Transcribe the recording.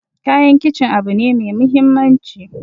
Kayan kicin abu ne mai muhimmanci